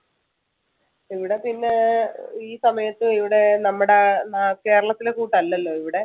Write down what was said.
ഇവിടെ പിന്നെ ഈ സമയത്ത് ഇവിടെ നമ്മടെ നാ~ കേരളത്തിലെ കൂട്ടല്ലല്ലോ ഇവിടെ